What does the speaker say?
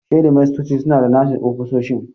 Shedimastoci suna da nasu ofisoshin.